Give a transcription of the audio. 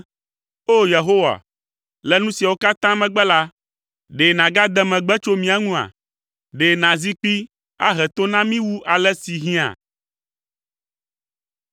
O, Yehowa, le nu siawo katã megbe la, ɖe nàgade megbe tso mía ŋua? Ɖe nàzi kpi ahe to na mí wu ale si hiã?